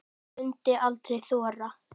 Hún mundi aldrei þora.